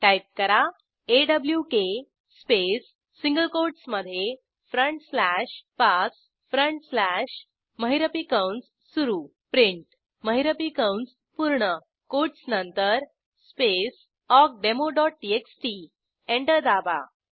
type करा awk space single कोटमधे front slash Pass front slash महिरपी कंस सुरू print महिरपी कंस पूर्ण कोटस नंतर स्पेस awkdemoटीएक्सटी एंटर दाबा